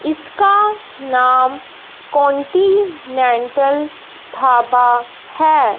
इसका नाम कॉन्टिनेंटल ढाबा है।